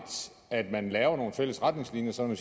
at man laver nogle fælles retningslinjer sådan